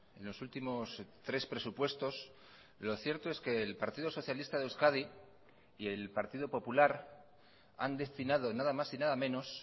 en los últimos tres presupuestos lo cierto es que el partido socialista de euskadi y el partido popular han destinado nada más y nada menos